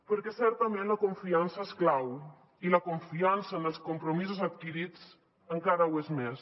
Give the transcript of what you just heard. perquè certament la confiança és clau i la confiança en els compromisos adquirits encara ho és més